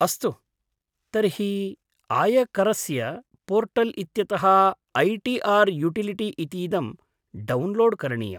अस्तु, तर्हि आयकरस्य पोर्टल् इत्यतः ऐ टी आर् युटिलिटी इतीदं डौन्लोड् करणीयम्।